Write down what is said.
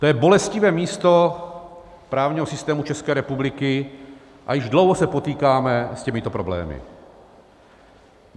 To je bolestivé místo právního systému České republiky a již dlouho se potýkáme s těmito problémy.